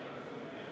Aitäh!